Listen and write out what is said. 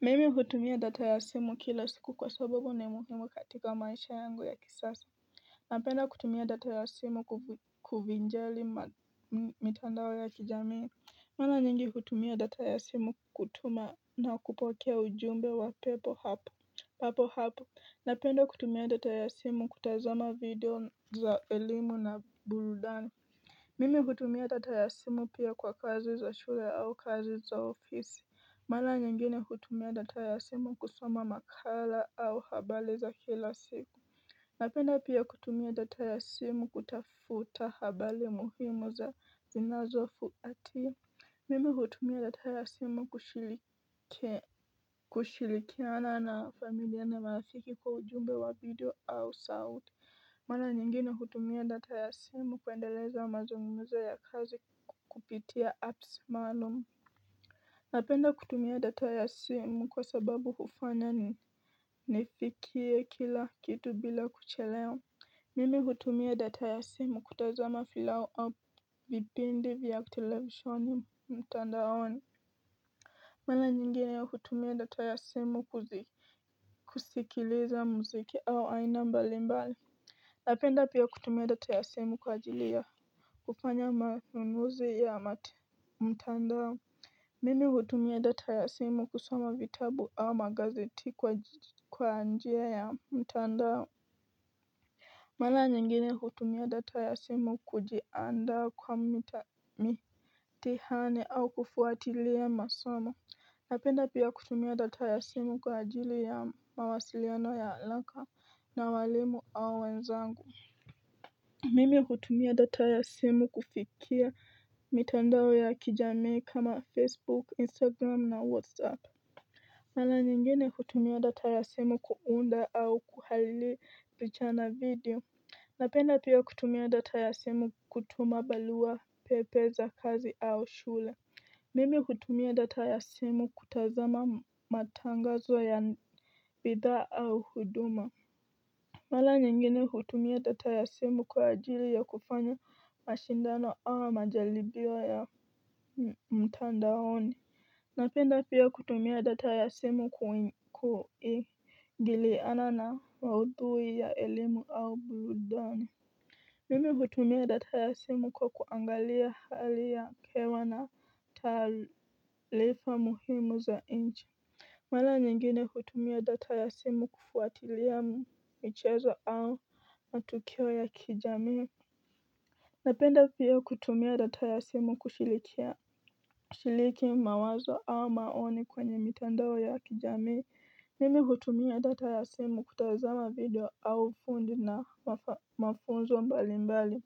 Mimi hutumia data ya simu kila siku kwa sababu ni muhimu katika maisha yangu ya kisasi Napenda kutumia data ya simu kuvinjari mitandao ya kijamii. Mara nyingi hutumia data ya simu kutuma na kupokea ujumbe wa pepe papo hapo Napenda kutumia data ya simu kutazama video za elimu na burudani. Mimi hutumia data ya simu pia kwa kazi za shule au kazi za ofisi Mara nyingine hutumia data ya simu kusoma makala au habari za kila siku. Napenda pia kutumia data ya simu kutafuta habari muhimu za zinazofuatia. Mimi hutumia data ya simu kushirikiana na familia na marafiki kwa ujumbe wa video au sauti. Mara nyingine hutumia data ya simu kuendeleza mazungumzo ya kazi kupitia apps maalum Napenda kutumia data ya simu kwa sababu hufanya nifikie kila kitu bila kuchelewa. Mimi hutumia data ya simu kutazama filamu au vipindi vya televisheni mtandaoni Mara nyingine ya hutumia data ya simu kusikiliza muziki au aina mbalimbali Napenda pia kutumia data ya simu kwa ajili ya kufanya manunuzi ya mtandao. Mimi hutumia data ya simu kusoma vitabu au magazeti kwa njia ya mtandao Mara nyingine hutumia data ya simu kujiandaa kwa mitihani au kufuatilia masomo. Napenda pia kutumia data ya simu kwa ajili ya mawasiliano ya haraka na walimu au wenzangu Mimi hutumia data ya simu kufikia mitandao ya kijamii kama Facebook, Instagram na Whatsapp. Mara nyingine hutumia data ya simu kuunda au kuhariri picha na video Napenda pia kutumia data ya simu kutuma barua pepe za kazi au shule. Mimi hutumia data ya simu kutazama matangazo ya bidhaa au huduma Mara nyingine hutumia data ya simu kwa ajili ya kufanya mashindano ama majaribio ya mtandaoni Napenda pia kutumia data ya simu kuingiliana na maudhui ya elimu au burudani Mimi hutumia data ya simu kwa kuangalia hali ya hewa na taarifa muhimu za nchi. Mara nyingine hutumia data ya simu kufuatilia michezo au matukio ya kijamii Napenda pia kutumia data ya simu kushiriki mawazo au maoni kwenye mitandao ya kijamii Mimi hutumia data ya simu kutazama video au fundi na mafunzo mbalimbali